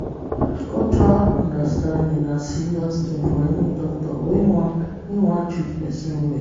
cultural understanding na serious thing for any doctor wey wan wey wan treat person well.